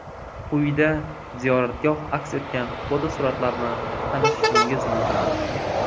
Quyida ziyoratgoh aks etgan fotosuratlar bilan tanishishingiz mumkin.